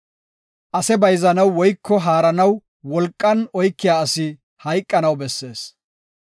“Ase bayzanaw woyko haaranaw wolqan oykiya asi hayqanaw bessees.